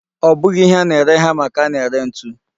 Ọ bụghị ihe a na-ere hama ka a na-ere ntu.